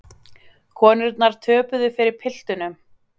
Konurnar töpuðu fyrir piltunum